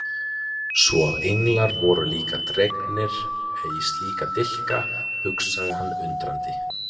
Svo að englar voru líka dregnir í slíka dilka, hugsaði hann undrandi.